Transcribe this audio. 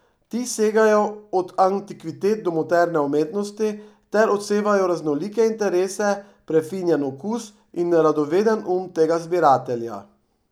Ti segajo od antikvitet do moderne umetnosti ter odsevajo raznolike interese, prefinjen okus in radoveden um tega zbiratelja.